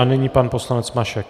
A nyní pan poslanec Mašek.